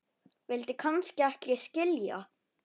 vildi kannski ekki skilja